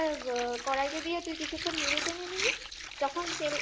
করে ওটা আ কড়াইতে দিয়ে তুই কিছুক্ষণ নেড়ে চেড়ে নিলি